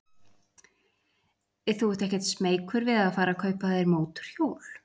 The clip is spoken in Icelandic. Þú ert ekkert smeykur við að fara að kaupa þér mótorhjól?